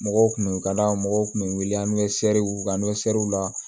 Mɔgɔw kun bɛ u ka da mɔgɔw kun bɛ wele an bɛ se u ka la